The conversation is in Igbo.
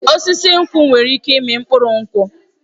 Osisi nkwụ nwere ike ịmị mkpụrụ nkwụ